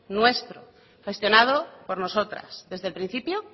nuestro gestionado por nosotras desde el principio